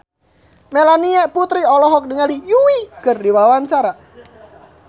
Melanie Putri olohok ningali Yui keur diwawancara